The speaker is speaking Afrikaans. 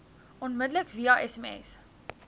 onmiddellik via sms